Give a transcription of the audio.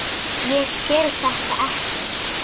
Ég skil þetta ekki!